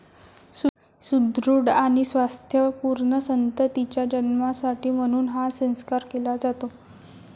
सुदृढ आणि स्वास्थ्य पूर्ण संततीच्या जन्मासाठी म्हणून हा संस्कार केला जातो